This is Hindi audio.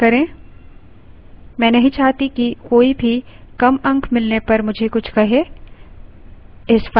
मैं नहीं चाहती कि कोई भी कम अंक मिलने पर मुझे कुछ कहे